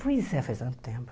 Pois é, faz tanto tempo.